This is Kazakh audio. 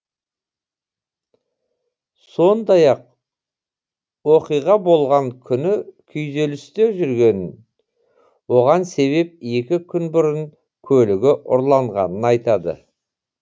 сондай ақ оқиға болған күні күйзелісте жүргенін оған себеп екі күн бұрын көлігі ұрланғанын айтады